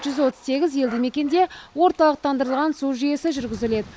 жүз отыз сегіз елді мекенде орталықтандырылған су жүйесі жүргізіледі